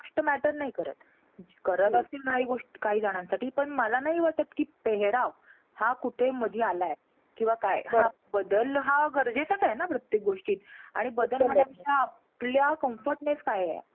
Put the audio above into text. गोष्ट matter नाही करत. करत असतील काही गोष्टी काही जणांसाठी. पण मला नाही वाटतं कि पेहेराव हा कुठेही मध्ये आलाय किंवा काय. हा बदल हा गरजेचाच आहे ना प्रत्येक गोष्टीत. आणि बदल म्हणण्यापेक्षा आपल्या comfortness काय आहे.